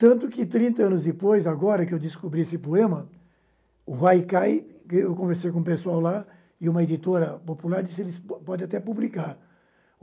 Tanto que, trinta anos depois, agora que descobri esse poema, o Haikai – eu conversei com o pessoal lá e uma editora popular – disse eles pode até publicar.